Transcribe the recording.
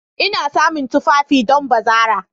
Ina samun tufafi don bazara.